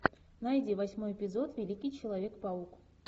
найди восьмой эпизод великий человек паук